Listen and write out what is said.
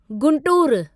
Guntur